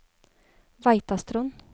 Veitastrond